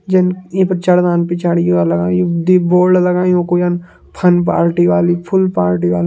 जन ईं पिक्चर मां पिछाड़ी कि वा लगायूं। दुई बोर्ड लगायूं। कोई यन फन पार्टी वाली फुल्ल पार्टी वा --